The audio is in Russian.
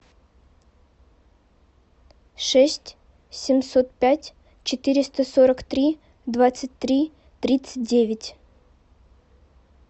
шесть семьсот пять четыреста сорок три двадцать три тридцать девять